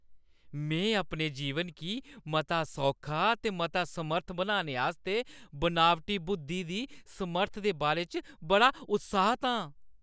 में अपने जीवन गी मता सौखा ते मता समर्थ बनाने आस्तै बनावटी बुद्धी दी समर्थ दे बारे च बड़ा उत्साहत आं।